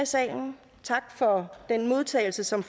salen tak for den modtagelse som